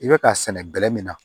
I bɛ k'a sɛnɛ bɛlɛ min na